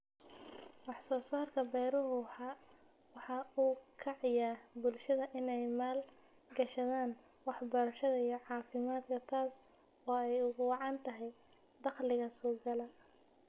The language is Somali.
Wax soo saarka beeruhu waxa uu ka caawiyaa bulshada in ay maal gashadaan waxbarashada iyo caafimaadka taas oo ay ugu wacan tahay dakhliga soo gala.